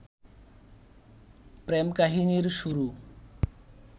প্রেম-কাহিনীর শুরু